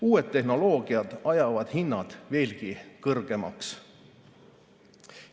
Uued tehnoloogiad ajavad hinnad veelgi kõrgemaks.